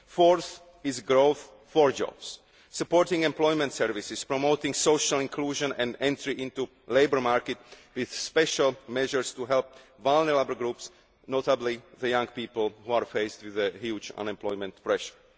The fourth is growth for jobs supporting employment services, promoting social inclusion and entry into labour markets, with special measures to help vulnerable groups, notably young people who are faced with a huge unemployment pressure.